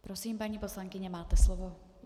Prosím, paní poslankyně, máte slovo.